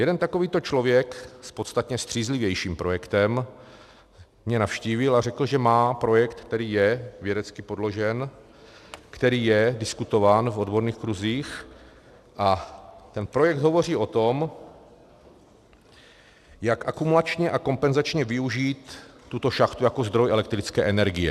Jeden takovýto člověk s podstatně střízlivějším projektem mě navštívil a řekl, že má projekt, který je vědecky podložen, který je diskutován v odborných kruzích, a ten projekt hovoří o tom, jak akumulačně a kompenzačně využít tuto šachtu jako zdroj elektrické energie.